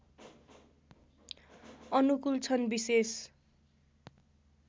अनुकूल छन् विशेष